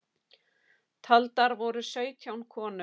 Taldar voru sautján konur